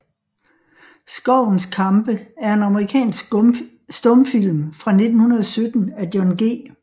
Skovens kampe er en amerikansk stumfilm fra 1917 af John G